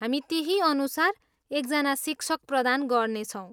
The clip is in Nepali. हामी त्यहीअनुसार एकजना शिक्षक प्रदान गर्नेछौँ।